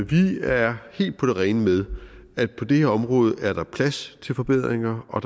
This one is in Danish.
vi er helt på det rene med at der på det her område er plads til forbedringer og